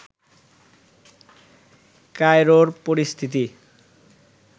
কায়রোর পরিস্থিতি